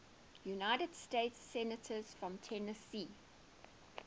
united states senators from tennessee